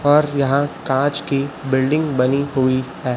पर यहां कांच की बिल्डिंग बनी हुई है।